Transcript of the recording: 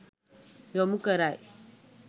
යොමු කරයි.